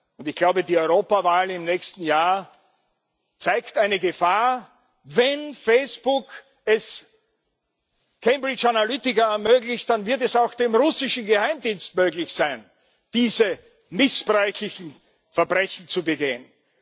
Und ich glaube, die Europawahl im nächsten Jahr zeigt eine Gefahr Wenn Facebook es Cambridge Analytica ermöglicht, dann wird es auch dem russischen Geheimdienst möglich sein, diese missbräuchlichen Verbrechen zu begehen.